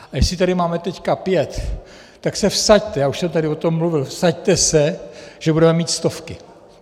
A jestli tady máme teď pět, tak se vsaďte - já už jsem tady o tom mluvil - vsaďte se, že budeme mít stovky.